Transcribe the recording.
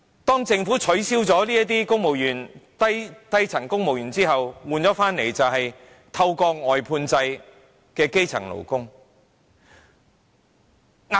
當政府取消了數以萬計的低層公務員職位後，換來的是透過外判制聘請的基層勞工。